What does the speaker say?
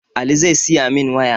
Ali zai siyamin waya